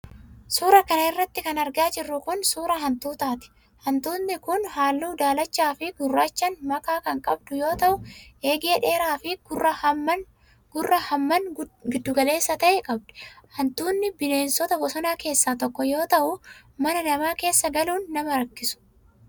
Suura kana irratti kan argaa jirru kun, suura hantuutaati. Hantuutni kun, haalluu daalacha fi gurraachan makaa kan qabdu yoo ta'u, eegee dheeraa fi gurra hammaan giddu galeessa ta'e qabdi. Hantuutni bineenota bosonaa keessaa tokko yoo ta'u, mana namaa keessa galuun nama rakkisu.